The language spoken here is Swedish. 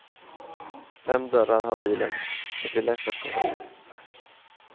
Fem dörrar har bilen, det blir lätt att komma in.